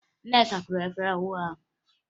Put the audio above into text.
Nneka kụwara efere ọhụrụ ahụ